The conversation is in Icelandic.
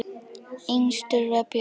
Yngstur var Björn.